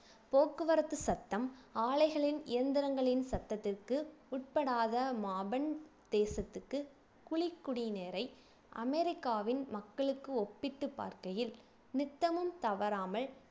போக்குவரத்து சத்தம் ஆலைகளின் இயந்திரங்களின் சத்தத்திற்கு உட்படாத மாபன் தேசத்துக்கு குழி குடிநீரை அமெரிக்காவின் மக்களுக்கு ஒப்பிட்டு பார்க்கையில் நித்தமும் தவறாமல்